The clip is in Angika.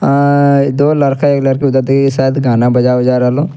अअअ दो लड़का एक लड़की उधर देखि शायद गाना बजा-उजा रहलो।